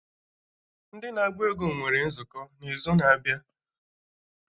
Ndị na-agba egwú nwere nzukọ ha n'izu na-abịa